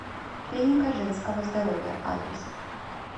клиника женского здоровья адрес